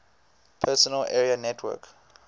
personal area network